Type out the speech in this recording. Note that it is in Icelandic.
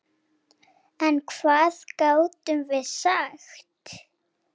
En hvað gátum við sagt?